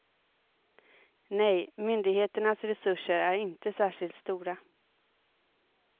Nej, myndigheternas resurser är inte särskilt stora.